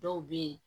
Dɔw bɛ ye